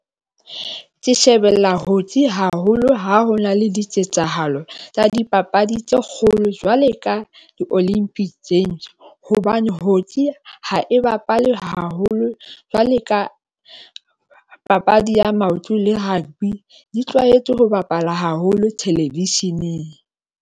Ke shebella hocky haholo ha ho na le diketsahalo tsa dipapadi tse kgolo jwale ka di-olympic games hobane hocky ha e bapalwe haholo jwale ka papadi ya maoto le rugby, di tlwaetse ho bapala haholo thelevisheneng.